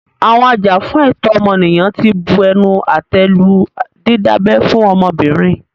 Àwọn ajàfún ẹ̀tọ́ ọmọnìyàn tí bu ẹnu àtẹ́ lu dídábẹ́ fún ọmọbìnrin.